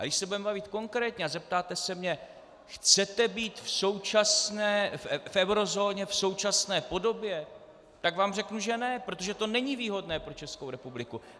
A když se budeme bavit konkrétně a zeptáte se mě "chcete být v eurozóně v současné podobě?", tak vám řeknu, že ne, protože to není výhodné pro Českou republiku.